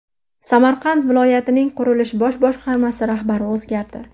Samarqand viloyatining Qurilish bosh boshqarmasi rahbari o‘zgardi.